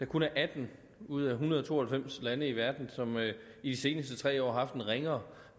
kun er atten ud af en hundrede og to og halvfems lande i verden som i de seneste tre år har haft en ringere